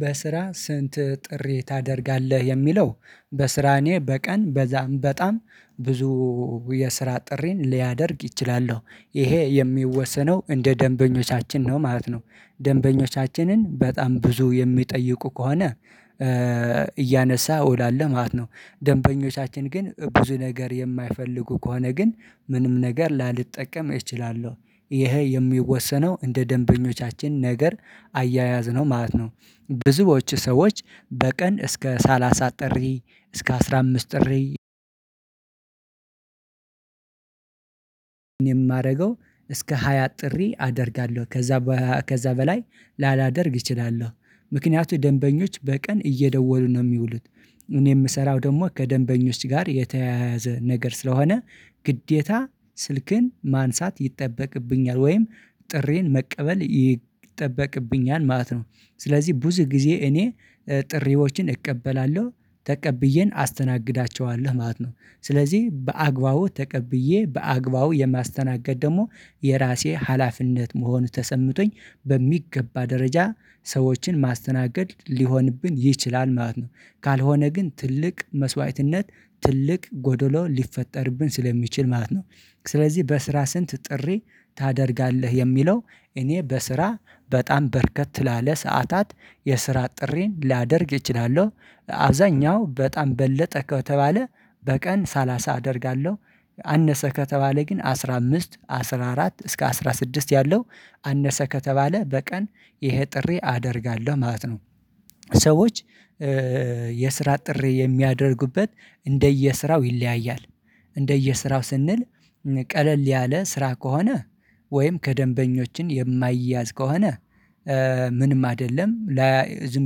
በስራ ስንት ጥሪ ታደርጋለህ የሚለው በስራ እኔ በቀን በዛም በጣም ብዙ የስራ ጥሪን ሊያደርግ ይችላለሁ ይሄ የሚወሰነው እንደ ደንበኞቻችን ነው ማለት ነው ደንበኞቻችንን በጣም ብዙ የሚጠይቁ ከሆነ እያነሳ እውላለው ማለት ነው ደንበኞቻችን ግን ብዙ ነገር የማይፈልጉ ከሆነ ግን ምንም ነገር ላልጠቀም እችላለሁ ይሄ የሚወሰነው እንደ ደንበኞቻችን ነገር አያያዝነው ማለት ነው ብዙዎች ሰዎች በቀን እስከ ሰላሳ ጥሪ እስከ አስራ አምስት ጥሪ የማደርገው እስከ ሃያ ጥሪ አደርጋለሁ ከዛ በ ከዛ በላይ ላላደርግ እችላለሁ ምክንያቱ ደንበኞች በቀን እየደወሉ ነው የሚውሉት እኔ የምሰራው ደግሞ ከደንበኞች ጋር የተያያዘ ነገር ስለሆነ ግዴታ ስልክን ማንሳት ይጠበቅብኛል ወይም ጥሪን መቀበል ይጠበቅብኛል ማለት ነው ስለዚህ ብዙ ጊዜ እኔ ጥሪዎችን እቀበላለሁ ተቀብዬን አስተናግዳቸዋለሁ ማለት ነው ስለዚህ በአግባቡ ተቀብዬ በአግባቡ የማስተናገድ ደግሞ የራሴ ሀላፊነት መሆኑን ተሰምቶኝ በሚገባ ደረጃ ሰዎችን ማስተናገድ ሊሆንብን ይችላል ማለት ነው። ካልሆነ ግን ትልቅ መስዋዕትነት ትልቅ ጎዶሎ ሊፈጠርብን ስለሚችል ማለት ነው። ስለዚህ በስራ ስንት ጥሪ ታደርጋለህ የሚለው እኔ በስራ በጣም በረከት ላለ ሰዓታት የስራ ጥሪን ሊያደርግ እችላለሁ። አብዛኛው በጣም በለጠ ከተባለ በቀን ሳላሳ አደርጋለሁ አነሰ ከተባለ ግን አስራ አምስት አስራ አራት እስከ አስራ ስድስት ያለው አነሰ ከተባለ በቀን ይሄ ጥሪ አደርጋለሁ ማለት ነው። ሰዎች የስራ ጥሪ የሚያደርጉበት እንደየስራው ይለያያል። እንደየስራው ስንል ቀለል ያለ ስራ ከሆነ ወይም ከደንበኞችን የማይያዝ ከሆነ ምንም አይደለም ለ ዝም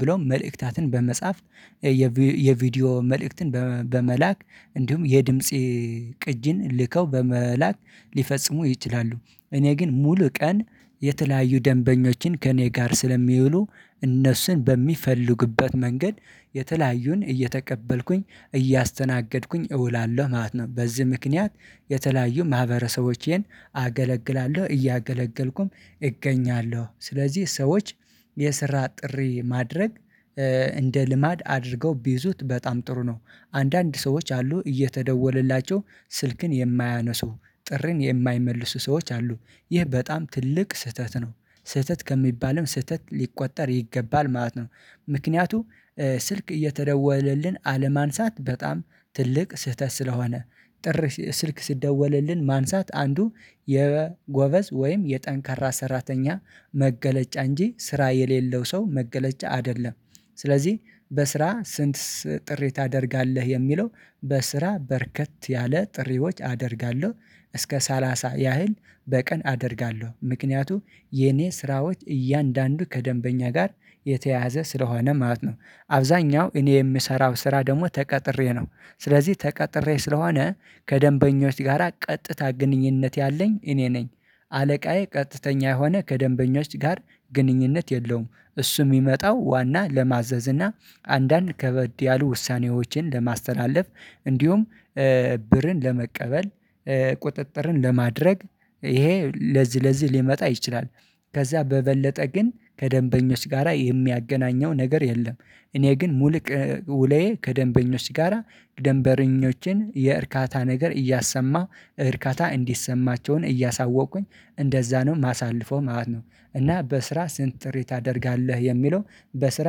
ብሎ መልእክታትን በመጻፍ የቪ የቪዲዮ መልእክትን በመ በመላክ እንዲሁም የድምጽ ቅጅን ልከው በመላክ ሊፈጽሙ ይችላሉ። እኔ ግን ሙሉ ቀን የተለያዩ ደንበኞችን ከእኔ ጋር ስለሚውሉ እነሱን በሚፈልጉበት መንገድ የተለያዩን እየተቀበልኩኝ እያስተናገድኩኝ እውላለሁ ማለት ነው። በዚህ ምክንያት የተለያዩ ማህበረሰቦቼን አገለግላለሁ እያገለገልኩም እገኛለሁ። ስለዚህ ሰዎች የስራ ጥሪ ማድረግ እንደ ልማድ አድርገው ቢይዙት በጣም ጥሩ ነው። አንዳንድ ሰዎች አሉ እየተደወለላቸው ስልክን የማያነሱ ጥሪን የማይመልሱ ሰዎች አሉ። ይህ በጣም ትልቅ ስህተት ነው። ስህተት ከሚባለው ስህተት ሊቆጠር ይገባል ማለት ነው። ምክንያቱም ስልክ እየተደወለልን አለማንሳት በጣም ትልቅ ስህተት ስለሆነ ጥር ስልክ ሲደወልልን ማንሳት አንዱ የጎበዝ ወይም የጠንካራ ሰራተኛ መገለጫ እንጂ ስራ የሌለው ሰው መገለጫ አይደለም። ስለዚህ በስራ ስንት ስ ጥሪ ታደርጋለህ የሚለው በስራ በረከት ያለ ጥሪዎች አደርጋለሁ። እስከ ሰላሳ ያህል በቀን አደርጋለሁ። ምክንያቱም የኔ ስራዎች እያንዳንዱ ከደንበኛ ጋር የተያዘ ስለሆነ ማለት ነው። አብዛኛው እኔ የምሰራው ስራ ደግሞ ተቀጥሬ ነው። ስለዚህ ተቀጥሬ ስለሆነ ከደንበኞች ጋራ ቀጥታ ግንኙነት ያለኝ እኔ ነኝ። አለቃዬ ቀጥተኛ የሆነ ከደንበኞች ጋር ግንኙነት የለውም። እሱ የሚመጣው ዋና ለማዘዝ እና አንዳንድ ከበድ ያሉ ውሳኔዎችን ለማስተላለፍ እንዲሁም ብርን ለመቀበል፣ ቁጥጥርን ለማድረግ ይሄ ለዚህ ለዚህ ሊመጣ ይችላል። ከዛ በበለጠ ግን ከደንበኞች ጋራ የሚያገናኘው ነገር የለም። እኔ ግን ሙሉቅ ውለዬ ከደንበኞች ጋራ ደንበረኞችን የእርካታ ነገር እያሰማሁ እርካታ እንዲሰማቸውን እያሳወቁኝ እንደዛ ነው የማሳልፈው ማለት ነው እና በስራ ስንት ጥሪ ታደርጋለህ የሚለው በስራ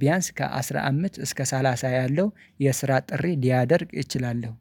ቢያንስ ከአስራ አምስት እስከ ሰላሳ ያለው የስራ ጥሪ ሊያደርግ እችላለሁ።